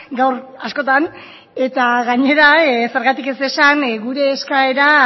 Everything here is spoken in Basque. gaur askotan eta gainera zergatik ez esan gure eskaera